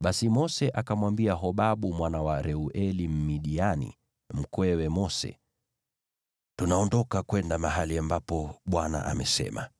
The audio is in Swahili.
Basi Mose akamwambia Hobabu mwana wa Reueli, Mmidiani, mkwewe Mose, “Tunaondoka kwenda mahali ambapo Bwana amesema